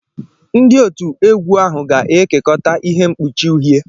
Ndị otu egwu ahụ ga-ekekọta ihe mkpuchi uhie.